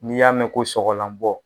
N'i y'a mɛn ko sɔgɔlanbɔ.